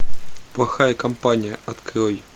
плохая компания открой